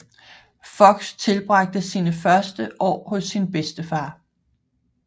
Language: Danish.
Fox tilbragte sine første år hos sin bedstefar